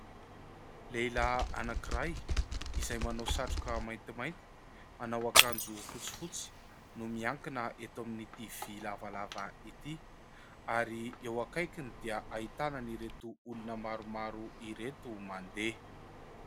Lehilahy anankiray izay manao satroka maintimainty, manao ankanjo fotsifotsy no miankina eto amin'n'ity vy lavalava ity ary eo akaikiny dia ahitana ireto olona maromaro ireto mandeha.